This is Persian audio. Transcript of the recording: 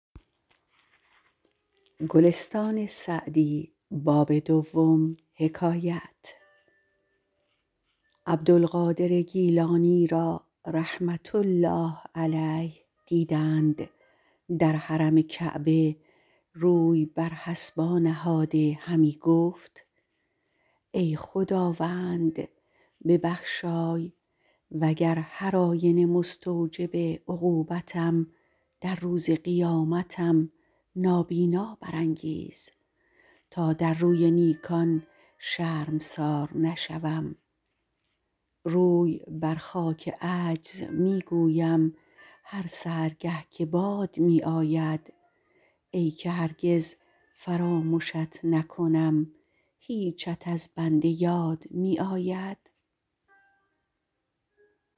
عبدالقادر گیلانی را رحمة الله علیه دیدند در حرم کعبه روی بر حصبا نهاده همی گفت ای خداوند ببخشای وگر هرآینه مستوجب عقوبتم در روز قیامتم نابینا برانگیز تا در روی نیکان شرمسار نشوم روی بر خاک عجز می گویم هر سحرگه که باد می آید ای که هرگز فرامشت نکنم هیچت از بنده یاد می آید